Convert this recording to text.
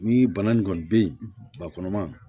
Ni bana nin kɔni be yen bakɔnɔma